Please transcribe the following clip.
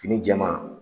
Fini jɛman